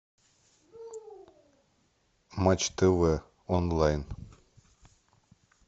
матч тв онлайн